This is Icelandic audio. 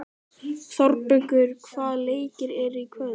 Þórbergur, hvaða leikir eru í kvöld?